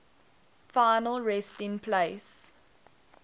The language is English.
final resting place